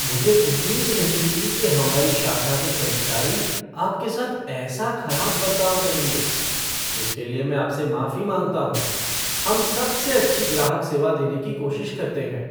मुझे उम्मीद नहीं थी कि हमारी शाखा के कर्मचारी आपके साथ ऐसा खराब बर्ताव करेंगे। इसके लिए मैं आपसे माफी माँगता हूँ। हम सबसे अच्छी ग्राहक सेवा देने की कोशिश करते हैं,